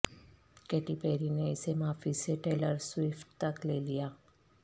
Katy Perry نے اسے معافی سے ٹیلر سوئفٹ تک لے لیا